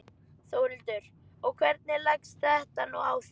Þórhildur: Og hvernig leggst þetta nú í þig?